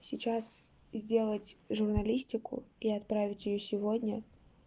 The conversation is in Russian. сейчас сделать журналистику и отправить её сегодня